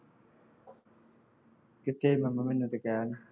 ਕਿੱਥੇ